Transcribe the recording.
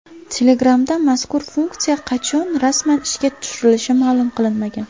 Telegram’da mazkur funksiya qachon rasman ishga tushirilishi ma’lum qilinmagan.